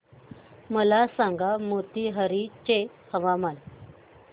मला सांगा मोतीहारी चे हवामान